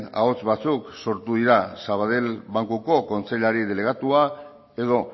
ahots batzuk sortu dira sabadell bankuko kontseilari delegatua edo